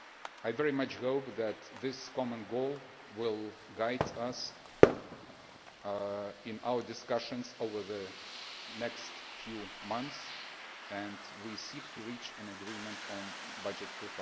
I very much hope that this common goal will guide us in our discussions over the next few months as we seek to reach an agreement on the budget for